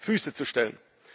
Füße zu stellen.